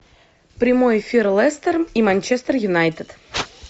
прямой эфир лестер и манчестер юнайтед